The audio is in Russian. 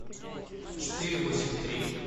четыре восемь три